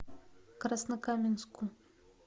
краснокаменску